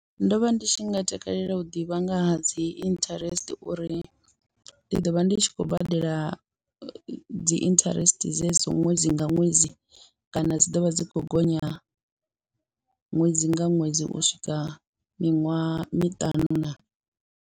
Ndo vha ndi tshi nga takalela u ḓivha nga ha dzi interest uri ndi ḓo vha ndi tshi khou badela dzi interest dzedzi ṅwedzi nga ṅwedzi kana dzi ḓo vha dzi kho gonya ṅwedzi nga ṅwedzi u swika miṅwaha miṱanu naa.